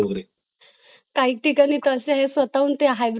College असतील किंवा विद्यापीठा असतील जे पूर्णपणे online course कर तील